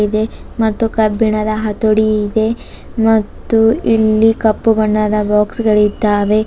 ದೆ ಮತ್ತು ಕಬ್ಬಿಣದ ಹತೋಡಿ ಇದೆ ಮತ್ತು ಇಲ್ಲಿ ಕಪ್ಪು ಬಣ್ಣದ ಬಾಕ್ಸ್ ಗಳಿದ್ದಾವೆ.